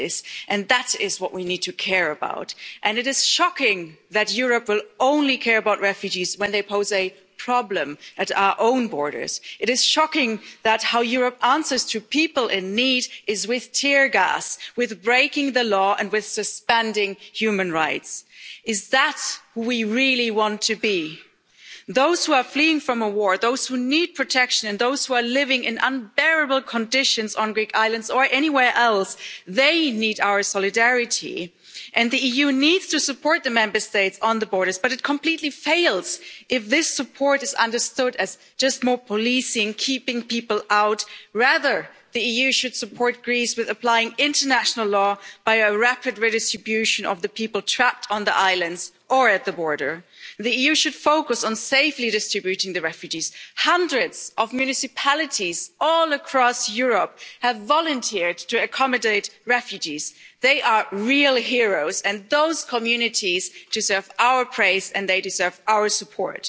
It's the fate of those women, of men and children that is the crisis, and that is what we need to care about. It is shocking that Europe will only care about refugees when they pose a problem at our own borders. It is shocking how Europe answers people in need with tear gas, with breaking the law and with suspending human rights. Is that what we really want to be? Those who are fleeing from a war, those who need protection, and those who are living in unbearable conditions on Greek islands or anywhere else, they need our solidarity. The EU needs to support the Member States on the borders, but it completely fails if this support is understood as just more policing and keeping people out. Rather, the EU should support Greece with applying international law by a rapid redistribution of the people trapped on the islands or at the border. The EU should focus on safely distributing the refugees. Hundreds of municipalities all across Europe have volunteered to accommodate refugees. They are real heroes, and those communities deserve our praise and they deserve our